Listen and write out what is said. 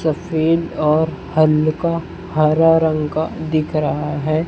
सफ़ेद और हल्का हरा रंग का दिख रहा है।